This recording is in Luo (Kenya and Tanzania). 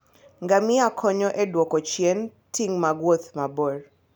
Ngamia konyo e duoko chien ting' mag wuoth mabor.